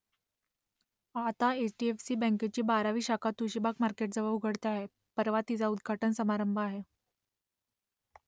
आता H D F C बँकेची बारावी शाखा तुळशीबाग मार्केटजवळ उघडते आहे परवा तिचा उद्घाटन समारंभ आहे